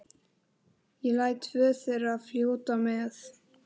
Ég læt tvö þeirra fljóta með.